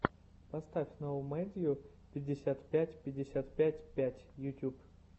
поставь ноумэдйу пятьдесят пять пятьдесят пять пять ютьюб